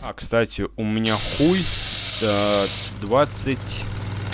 а кстати у меня хуй до двадцать